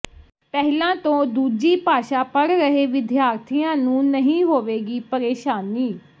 ਪਹਿਲਾਂ ਤੋਂ ਦੂਜੀ ਭਾਸ਼ਾ ਪੜ੍ਹ ਰਹੇ ਵਿਦਿਆਰਥੀਆਂ ਨੂੰ ਨਹੀਂ ਹੋਵੇਗੀ ਪਰੇਸ਼ਾਨੀ